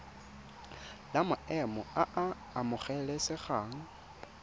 la maemo a a amogelesegang